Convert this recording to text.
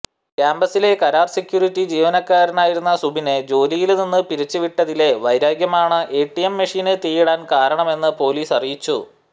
ക്യാമ്പസിലെ കരാര് സെക്യൂരിറ്റി ജീവനക്കാരനായിരുന്ന സുബിനെ ജോലിയില് നിന്ന് പിരിച്ചുവിട്ടതിലെ വൈരാഗ്യമാണ് എടിഎം മെഷീന് തീയിടാന് കാരണമെന്ന് പോലീസ് അറിയിച്ചു